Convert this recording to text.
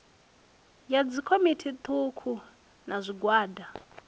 ya dzikomiti thukhu na zwigwada